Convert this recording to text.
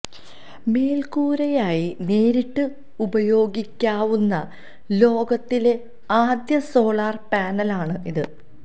മേൽക്കൂരയായി നേരിട്ട് ഉപയോഗിക്കാവുന്ന ലോകത്തിലെ ആദ്യ സോളാർ പാനലാണ് ഇത്